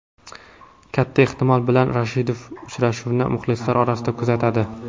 Katta ehtimol bilan Rashidov uchrashuvni muxlislar orasida kuzatadi.